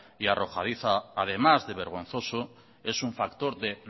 y arrojadiza además de vergonzoso es un factor de